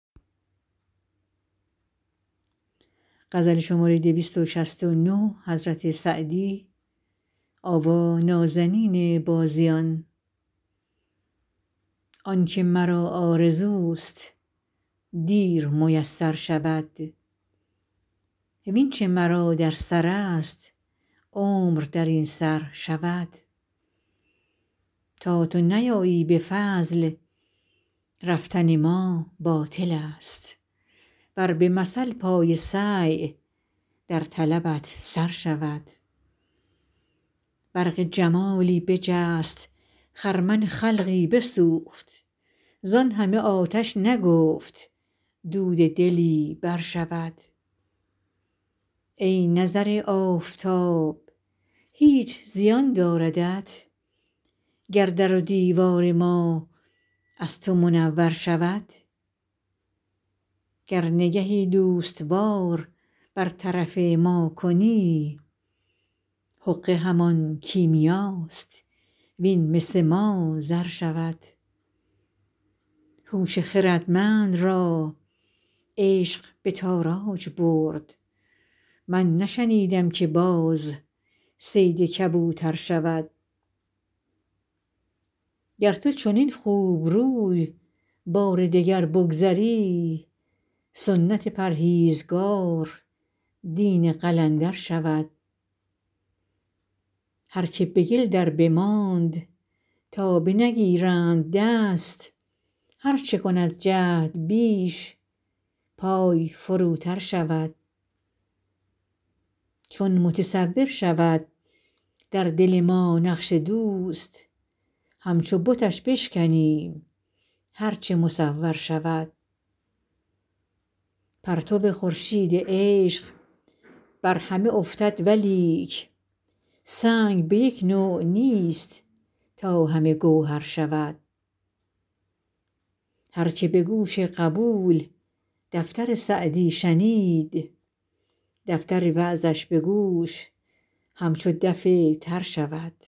آن که مرا آرزوست دیر میسر شود وین چه مرا در سرست عمر در این سر شود تا تو نیایی به فضل رفتن ما باطلست ور به مثل پای سعی در طلبت سر شود برق جمالی بجست خرمن خلقی بسوخت زان همه آتش نگفت دود دلی برشود ای نظر آفتاب هیچ زیان داردت گر در و دیوار ما از تو منور شود گر نگهی دوست وار بر طرف ما کنی حقه همان کیمیاست وین مس ما زر شود هوش خردمند را عشق به تاراج برد من نشنیدم که باز صید کبوتر شود گر تو چنین خوبروی بار دگر بگذری سنت پرهیزگار دین قلندر شود هر که به گل دربماند تا بنگیرند دست هر چه کند جهد بیش پای فروتر شود چون متصور شود در دل ما نقش دوست همچو بتش بشکنیم هر چه مصور شود پرتو خورشید عشق بر همه افتد ولیک سنگ به یک نوع نیست تا همه گوهر شود هر که به گوش قبول دفتر سعدی شنید دفتر وعظش به گوش همچو دف تر شود